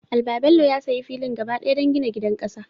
Albabello ya sayi filin gaba ɗaya don gina gidan ƙasa.